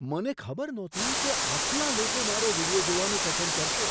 મને ખબર નહોતી કે આટલા લોકો મારો વીડિયો જોવાનું પસંદ કરશે!